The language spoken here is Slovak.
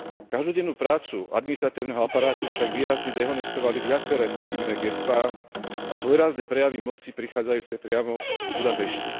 Každodennú prácu administratívneho aparátu však výrazne dehonestovali viaceré pochybné gestá a svojrázne prejavy moci prichádzajúce priamo z Budapešti.